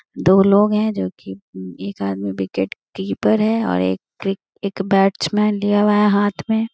दो लोग हैं जो की एक हाथ में विकेट कीपर एक बैट्समैन लिया हुआ है हाथ में।